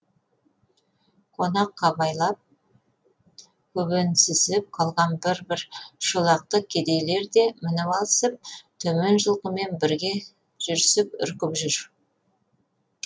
қонақ қабайлап көбенсісіп қалған бір бір шолақты кедейлер де мініп алысып төмен жылқымен бірге жүрісіп үркіп жүр